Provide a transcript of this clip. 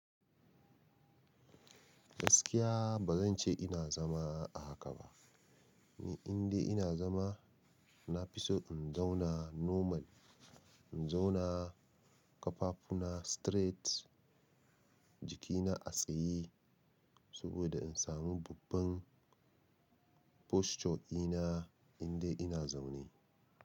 Gaskiya ba zan ce ina zama a haka ba, ni indai ina zama na fi so in zauna normal, in zauna ƙafafuna straight, jikina a tsaye saboda in samu babban posture ina inda ina zaune.